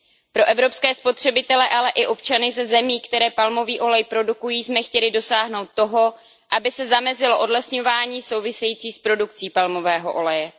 Pro evropské spotřebitele, ale i občany ze zemí, které palmový olej produkují, jsme chtěli dosáhnout toho, aby se zamezilo odlesňování souvisejícímu s produkcí palmového oleje.